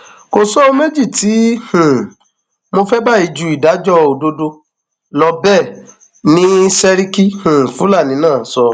kò sóhun méjì tí um mo fẹ báyìí ju ìdájọ òdodo lọ bẹẹ ni sẹríkì um fúlàní náà sọ